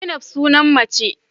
Zainab sunan mace.